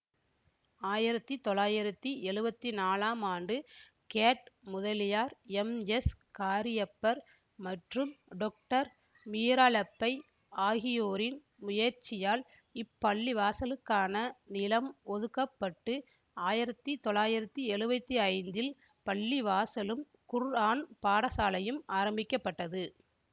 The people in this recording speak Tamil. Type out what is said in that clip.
ஆயிரத்தி தொள்ளாயிரத்தி எழுவத்தி நாலாம் ஆண்டு கேட் முதலியார் எம்எஸ்காரியப்பர் மற்றும் டொக்டர் மீராலெப்பை ஆகியோரின் முயற்சியால் இப்பள்ளிவாசலுக்கான நிலம் ஒதுக்க பட்டு ஆயிரத்தி தொள்ளாயிரத்தி எழுவத்தி ஐந்தில் பள்ளிவாசலும் குர்ஆன் பாடசாலயும் ஆரம்பிக்க பட்டது